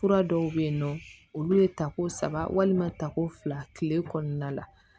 Fura dɔw bɛ yen nɔ olu ye tako saba walima tako fila tile kɔnɔna la